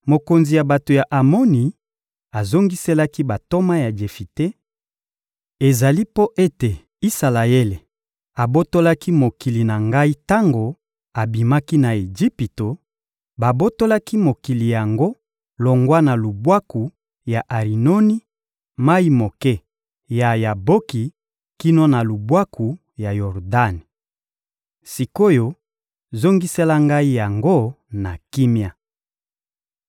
Mokonzi ya bato ya Amoni azongiselaki bantoma ya Jefite: — Ezali mpo ete Isalaele abotolaki mokili na ngai tango abimaki na Ejipito; babotolaki mokili yango longwa na lubwaku ya Arinoni, mayi moke ya Yaboki kino na lubwaku ya Yordani. Sik’oyo, zongisela ngai yango na kimia.